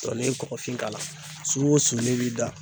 n'i ye kɔkɔfin k'a la su o su n'i b'i da.